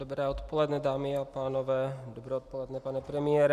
Dobré odpoledne, dámy a pánové, dobré odpoledne, pane premiére.